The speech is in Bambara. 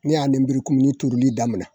Ne y'a lenburukumuni turuli daminɛ